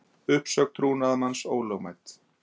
Uppsögn trúnaðarmanns ólögmæt